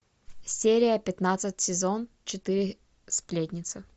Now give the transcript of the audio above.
серия пятнадцать сезон четыре сплетница